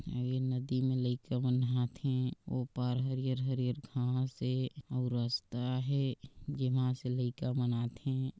अऊ ए नदी मे लइका मन ह आथे ओ पार हरियर-हरियर घाँस हे अऊ रस्ता हे जेमा से लइका मन आथे।